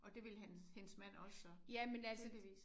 Og det ville hende hendes mand også så? Tydeligvis